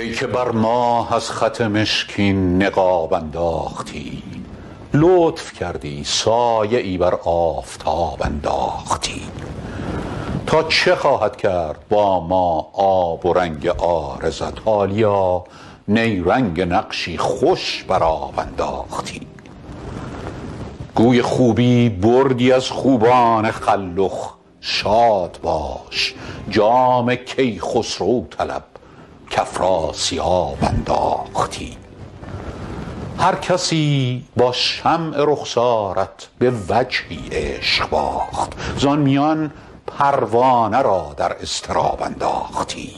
ای که بر ماه از خط مشکین نقاب انداختی لطف کردی سایه ای بر آفتاب انداختی تا چه خواهد کرد با ما آب و رنگ عارضت حالیا نیرنگ نقشی خوش بر آب انداختی گوی خوبی بردی از خوبان خلخ شاد باش جام کیخسرو طلب کافراسیاب انداختی هرکسی با شمع رخسارت به وجهی عشق باخت زان میان پروانه را در اضطراب انداختی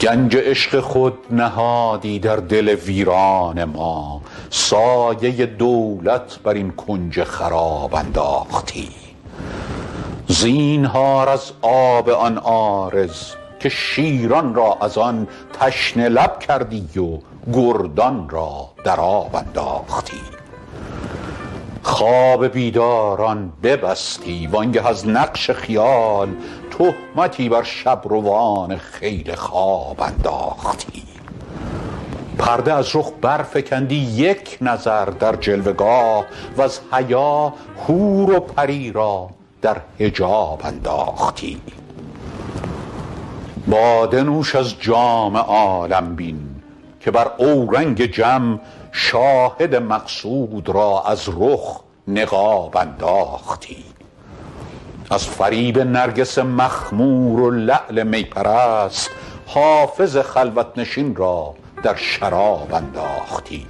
گنج عشق خود نهادی در دل ویران ما سایه دولت بر این کنج خراب انداختی زینهار از آب آن عارض که شیران را از آن تشنه لب کردی و گردان را در آب انداختی خواب بیداران ببستی وآن گه از نقش خیال تهمتی بر شب روان خیل خواب انداختی پرده از رخ برفکندی یک نظر در جلوه گاه وز حیا حور و پری را در حجاب انداختی باده نوش از جام عالم بین که بر اورنگ جم شاهد مقصود را از رخ نقاب انداختی از فریب نرگس مخمور و لعل می پرست حافظ خلوت نشین را در شراب انداختی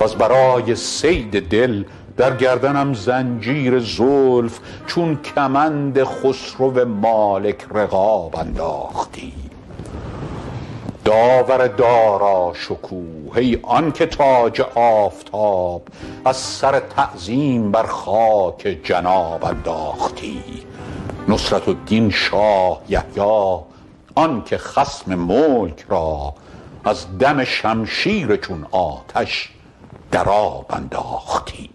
وز برای صید دل در گردنم زنجیر زلف چون کمند خسرو مالک رقاب انداختی داور داراشکوه ای آن که تاج آفتاب از سر تعظیم بر خاک جناب انداختی نصرة الدین شاه یحیی آن که خصم ملک را از دم شمشیر چون آتش در آب انداختی